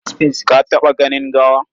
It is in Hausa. Ka taɓa ganin gawa?